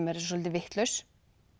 soldið vitlaus